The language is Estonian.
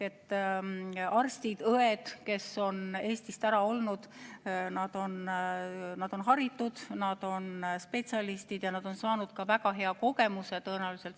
Arstid ja õed, kes on Eestist ära olnud, on haritud, nad on spetsialistid ja nad on saanud väga hea kogemuse.